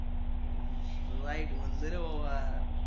हम्म राईट म्हणलं रे बाबा